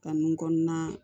Ka nun kɔnɔna